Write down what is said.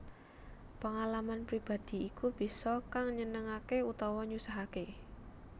Pengalaman pribadi iku bisa kang nyenengake utawa nyusahake